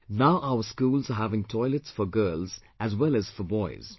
Now our schools are having toilets for girls as well as for boys